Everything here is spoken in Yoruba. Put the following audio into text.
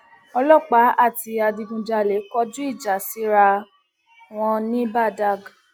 ọlọpàá àti adigunjalè kọjú ìjà síra wọn ní badág